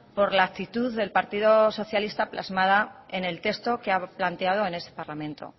por la actitud del partido socialista plasmada en el texto que ha planteado en este parlamento